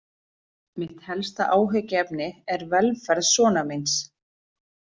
Mitt helsta áhyggjuefni er velferð sonar míns.